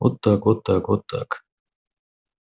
вот так вот так вот так